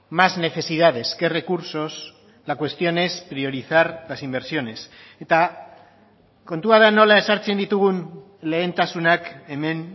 más necesidades que recursos la cuestión es priorizar las inversiones eta kontua da nola ezartzen ditugun lehentasunak hemen